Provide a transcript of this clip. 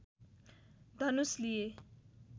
धनुष लिए